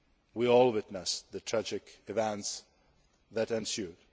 We all witnessed the tragic events that ensued.